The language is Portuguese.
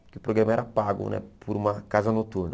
Porque o programa era pago né por uma casa noturna.